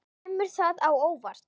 Kemur það á óvart?